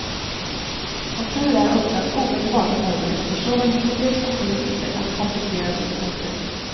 Som tur är öppnas omedelbart en möjlighet för såväl medier som politiker att kompensera sitt ointresse.